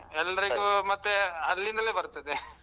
ಅಲ್ಲಾ ಎಲ್ಲರಿಗೂ ಮತ್ತೆ ಅಲ್ಲಿಂದಲೇ ಬರ್ತದೆ .